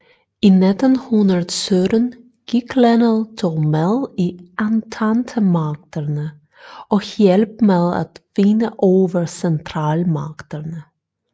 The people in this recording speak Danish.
I 1917 gik landet dog med i ententemagterne og hjalp med at vinde over centralmagterne